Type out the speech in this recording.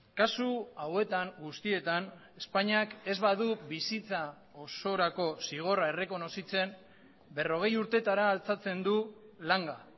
kasu hauetan guztietan espainiak ez badu bizitza osorako zigorra errekonozitzen berrogei urtetara altxatzen du langa